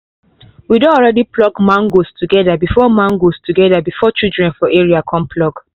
we don already pack mangoes together before mangoes together before children for area come pluck